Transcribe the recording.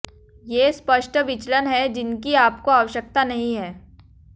ये स्पष्ट विचलन हैं जिनकी आपको आवश्यकता नहीं है